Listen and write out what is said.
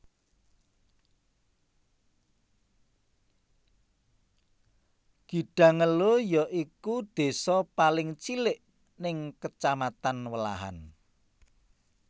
Gidangelo ya iku désa paling cilik ning Kacamatan Welahan